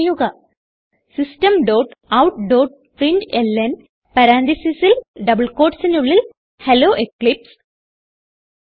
type ചെയ്യുക systemoutപ്രിന്റ്ലൻ പരാൻതീസിസിൽ ഡബിൾ quotesനുള്ളിൽ ഹെല്ലോ എക്ലിപ്സ്